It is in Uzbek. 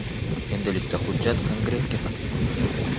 Endilikda hujjat Kongressga taqdim etildi.